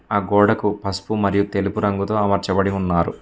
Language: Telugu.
ఆ గోడకు పస్పు మరియు తెలుపు రంగుతో అమర్చబడి ఉన్నారు.